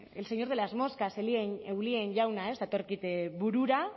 el señor de las moscas eulien jauna datorkit burura